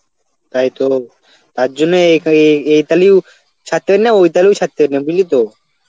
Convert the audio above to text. তাইতো তার জন্যই এ~ এ~ এ তালেও ছাড়তে পারবো না ওই তালেও ছাড়তে পারবো না বুঝলি তো.